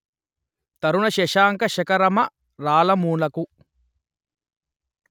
తరుణ శశాంక శఖరమరాళమునకు